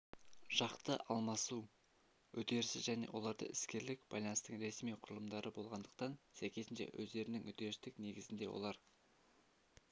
жақты алмасу үдерісі және оларда іскерлік байланыстың ресми құрылымдары болғандықтан сәйкесінше өздерінің үдерістік негізінде олар